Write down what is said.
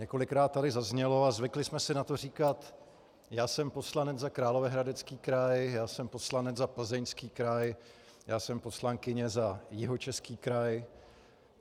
Několikrát tady zaznělo a zvykli jsme si na to říkat: Já jsem poslanec za Královéhradecký kraj, já jsem poslanec za Plzeňský kraj, já jsem poslankyně za Jihočeský kraj.